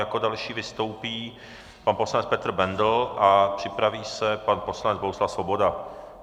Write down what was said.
Jako další vystoupí pan poslanec Petr Bendl a připraví se pan poslanec Bohuslav Svoboda.